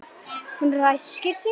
Hún ræskir sig.